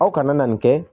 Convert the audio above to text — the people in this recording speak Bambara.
Aw kana na nin kɛ